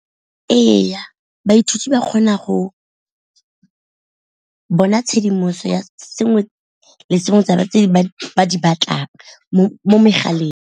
Ee, baithuti ba kgona go bona tshedimoso ya sengwe le sengwe tse ba di batlang mo megaleng.